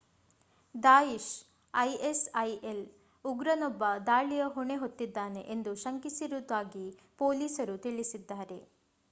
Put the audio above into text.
Daesh ISIL ಉಗ್ರನೊಬ್ಬ ದಾಳಿಯ ಹೊಣೆ ಹೊತ್ತಿದ್ದಾನೆ ಎಂದು ಶಂಕಿಸಿರುವುದಾಗಿ ಪೋಲೀಸರು ತಿಳಿಸಿದ್ದಾರೆ